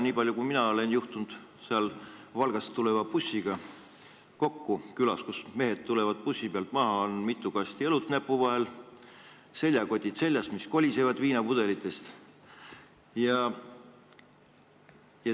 Niipalju, kui mina olen juhtunud seal Valga bussi pealt tulevate meestega kokku, siis neil on kaasas mitu kasti õlut ja seljas seljakotid, mis kolisevad viinapudelitest.